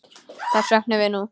Þess söknum við nú.